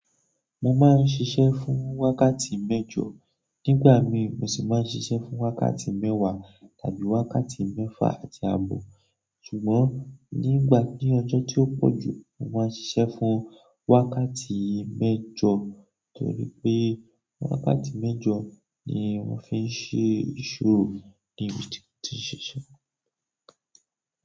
Mo máa ń ṣiṣẹ́ fún wákàtí mẹ́jọ, nígbà mí mo sì máa ń ṣiṣẹ́ fún wákàtí mẹ́wàá tàbí wákàtí mẹ́fà àti àbọ̀. Ṣùgbọ́n nígbà ni ọjọ́ tó pọ̀ jù, mo máa ń ṣiṣẹ́ fún wákàtí mẹ́jọ, torí pé wákàtí mẹ́jọ ni wọ́n fi ń ṣe ìṣòro ní ibi tí mo ti ń ṣiṣẹ́.